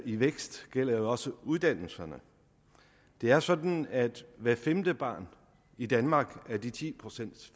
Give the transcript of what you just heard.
i vækst gælder jo også uddannelserne det er sådan at hvert femte barn i danmark af de ti procent